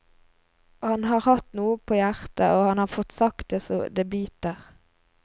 Han har hatt noe på hjertet, og han har fått sagt det så det biter.